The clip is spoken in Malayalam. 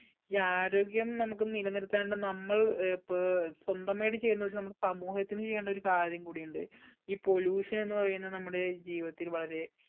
ഈ ആരോഗ്യം നമ്മൾ നിലനിർത്താണ്ട് നമ്മൾ ഏർ പേ സ്വന്തമായിട്ട് ചെയ്യുന്ന ഒരു സമൂഹത്തിനു ചെയ്യേണ്ട ഒരു കാര്യം കൂടിയുണ്ട് ഈ pollution എന്ന് പറയുന്ന നമ്മുടെ ജീവിതത്തിൽ വളരെ